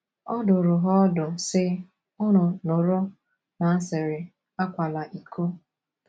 Ọ dụrụ ha ọdụ, sị: “ Unu nụrụ na a sịrị, ‘ Akwala iko. ’